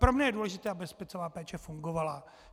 Pro mě je důležité, aby hospicová péče fungovala.